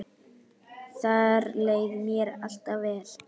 Þar leið mér alltaf vel.